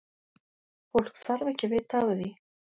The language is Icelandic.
Fólk þarf ekki að vita af því.